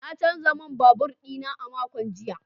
Na canza man babur dina a makon jiya.